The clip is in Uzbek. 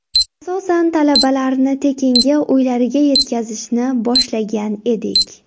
Asosan, talabalarni tekinga uylariga yetkazishni boshlagan edik.